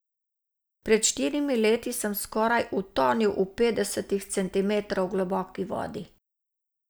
Pred štirimi leti sem skoraj utonil v petdeset centimetrov globoki vodi.